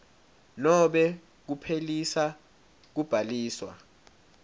nobe kuphelisa kubhaliswa